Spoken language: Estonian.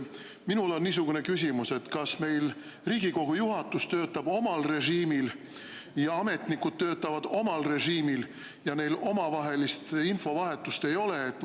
Minul on niisugune küsimus: kas meil Riigikogu juhatus töötab omal režiimil ja ametnikud töötavad omal režiimil ja neil omavahelist infovahetust ei ole?